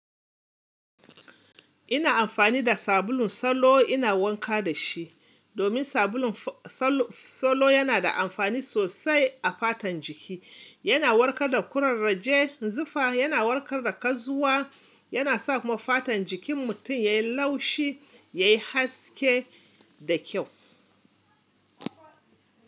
Ina amfani da sabulun solo ina wanka da shi. Domin sabulun solo yana da amfani sosai a fatan jiki. Yana warkar da kurarraje, zufa, yana warkar da kazuwa, yana sa kuma fatan jikin mutum ya yi laushi, ya yi haske da kyau.